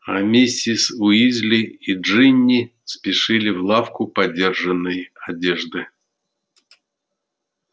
а миссис уизли и джинни спешили в лавку подержанной одежды